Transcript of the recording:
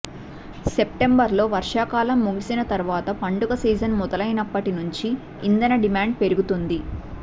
సెప్టెంబర్లో వర్షాకాలం ముగిసిన తర్వాత పండుగ సీజన్ మొదలైనప్పటి నుంచి ఇంధన డిమాండ్ పెరుగుతుంది